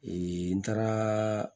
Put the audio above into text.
n taara